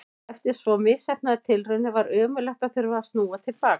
Eftir svo misheppnaðar tilraunir var ömurlegt að þurfa að snúa til baka.